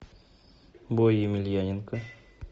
бой емельяненко